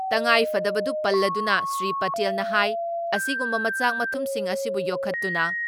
ꯇꯉꯥꯏꯐꯗꯕꯗꯨ ꯄꯜꯂꯗꯨꯅ ꯁ꯭ꯔꯤ ꯄꯇꯦꯜꯅ ꯍꯥꯏ ꯑꯁꯤꯒꯨꯝꯕ ꯃꯆꯥꯛ ꯃꯊꯨꯝꯁꯤꯡ ꯑꯁꯤꯕꯨ ꯌꯣꯛꯈꯠꯇꯨꯅ